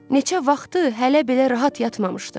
Neçə vaxtdır hələ belə rahat yatmamışdım.